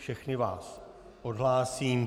Všechny vás odhlásím.